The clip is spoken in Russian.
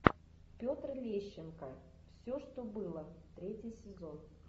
петр лещенко все что было третий сезон